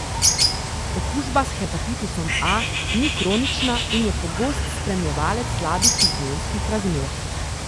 Okužba s hepatitisom A ni kronična in je pogost spremljevalec slabih higienskih razmer.